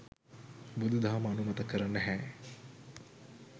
බුදුදහම අනුමත කර නැහැ.